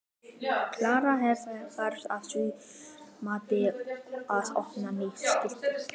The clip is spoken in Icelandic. Erla: En þarf að þínu mati að opna nýtt skýli?